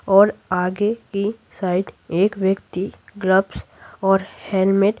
और आगे की साइड एक व्यक्ति ग्लव्स और हेलमेट --